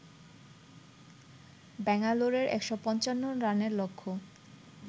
ব্যাঙ্গালোরের ১৫৫ রানের লক্ষ্য